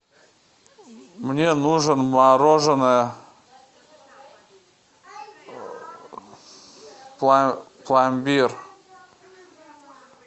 мне нужен мороженое пломбир